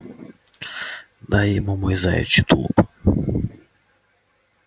дай ему мой заячий тулуп